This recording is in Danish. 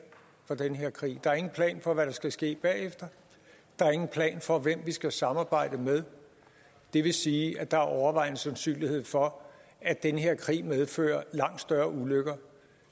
for den her krig der er ingen plan for hvad der skal ske bagefter der er ingen plan for hvem vi skal samarbejde med det vil sige at der er overvejende sandsynlighed for at den her krig medfører langt større ulykker